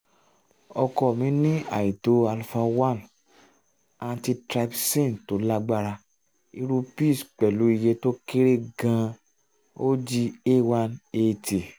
ọkọ mi ní àìtó alfa1-antitrypsin tó lágbára irú pizz pẹ̀lú iye tó kéré gan-an og a1at